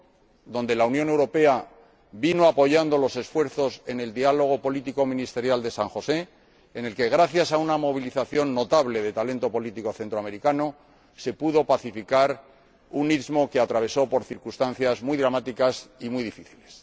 en este caso, la Unión Europea apoyó los esfuerzos desplegados en el diálogo político ministerial de San José, en el que, gracias a una movilización notable de talento político centroamericano, se pudo pacificar un istmo que atravesó por circunstancias muy dramáticas y muy difíciles.